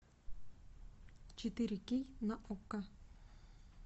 четыре кей на окко